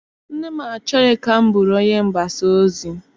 Nne m achọghị ka m bụrụ onye mgbasa ozi.